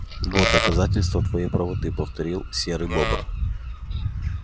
вот доказательство твоей правоты повторил серый бобр